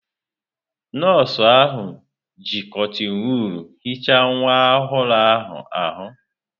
Nọọsụ ahụ ji kọtịn wọọl hichaa nwa ọhụrụ ahụ.